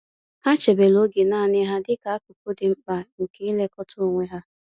Ha chebere oge naanị ha dịka akụkụ dị mkpa nke ilekọta onwe ha.